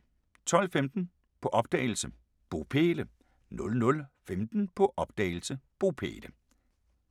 12:15: På opdagelse – Bopæle 00:15: På opdagelse – Bopæle *